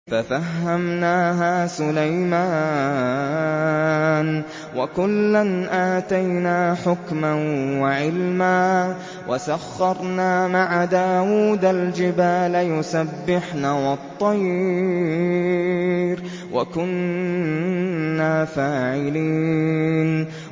فَفَهَّمْنَاهَا سُلَيْمَانَ ۚ وَكُلًّا آتَيْنَا حُكْمًا وَعِلْمًا ۚ وَسَخَّرْنَا مَعَ دَاوُودَ الْجِبَالَ يُسَبِّحْنَ وَالطَّيْرَ ۚ وَكُنَّا فَاعِلِينَ